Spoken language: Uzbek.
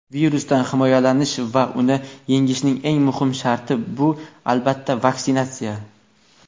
virusdan himoyalanish va uni yengishning eng muhim sharti – bu albatta vaksinatsiya.